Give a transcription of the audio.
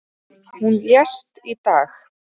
Hún lést í dag.